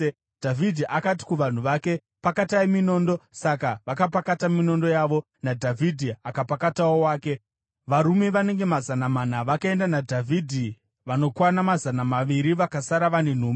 Dhavhidhi akati kuvanhu vake, “Pakatai minondo!” Saka vakapakata minondo yavo, naDhavhidhi akapakatawo wake. Varume vanenge mazana mana vakaenda naDhavhidhi, vanokwana mazana maviri vakasara vane nhumbi.